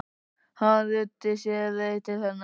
Hann ruddi sér leið til hennar.